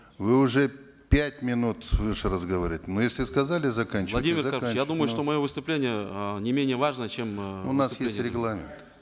вы уже пять минут свыше разговариваете ну если сказали заканчиваете я думаю что мое выступление э не менее важно чем у нас есть регламент